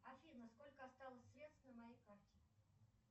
афина сколько осталось средств на моей карте